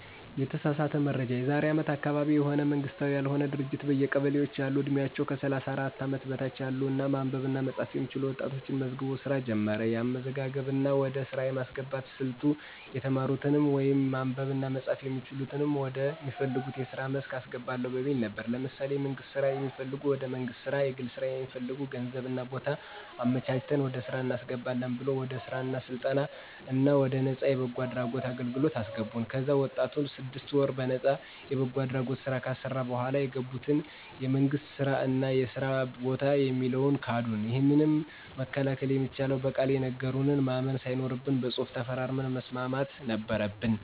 የተሳሳተ መረጃ የዛሬ አመት አካባቢ የሆነ መንግስታዊ ያልሆነ ድርጅት በየቀበሌዎች ያሉ ዕድሜያቸው ከ 34 አመት በታች ያሉ እና ማንበብ እና መፃፍ የሚችሉ ወጣቶችን መዝግቦ ሥራ ጀመረ። የአመዘጋገብ እና ወደ ሥራ የማስገባት ሥልቱ የተማሩትንም ወይም ማንበብ እና መጻፍ የሚችሉትንም ወደ ሚፈልጉት የስራ መስክ አስገባለሁ በሚል ነበር። ለምሳሌ የመንግስት ስራ የሚፈልግ ወደ መንግስት ስራ፣ የግል ስራ ለሚፈልግ ገንዘብ እና ቦታ አመቻችተን ወደ ስራ እናስገባለን ብሎ ወደ ስራ ወደ ስልጠና እና ወደ ነፃ የበጎ አድራጎት አገልግለት አሰገቡን። ከዚያ ወጣቱን ስድስት ወር በነጣ የበጎ አድራጎት ስራ ካሰራ በኋላ ቃል የገቡትን የመንግስት ስራ እና የስራ በታ የሚለውን ካዱን። ይህንን መከላከል የሚቻለው በቃል የነገሩንን ማመን ሳይኖርብን በፅሁፍ ተፈራርመን መስማት ነበረበን።